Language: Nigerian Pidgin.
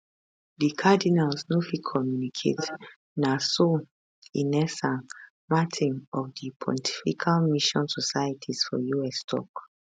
di cardinals no fit communicate na so ines san martin of di pontifical mission societies for us tok